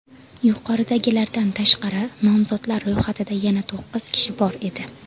Yuqoridagilardan tashqari, nomzodlar ro‘yxatida yana to‘qqiz kishi bor edi.